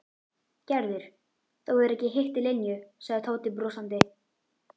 Gerður, þú hefur ekki hitt Linju sagði Tóti brosandi.